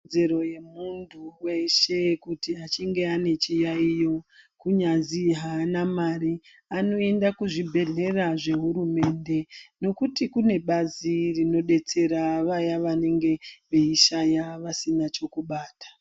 Ikodzero yemuntu veshe kuti achinge ane chiyaiyo kunyazi haana mari. Anoenda kuzvibhedhlera zvehurumende nokuti kune bazi rinodetsera vaya vanenge veishaya vasina chokubata.